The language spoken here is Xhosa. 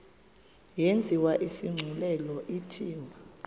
yenziwe isigculelo ithiwe